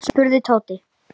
spurði Tóti.